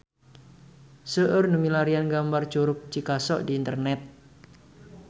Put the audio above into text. Seueur nu milarian gambar Curug Cikaso di internet